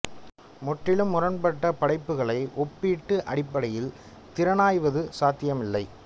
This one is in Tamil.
முற்றிலும் முரண்பட்ட படைப்புக்களை ஒப்பீட்டு அடிப்படையில் திறனாய்வது சாத்தியம் இல்லை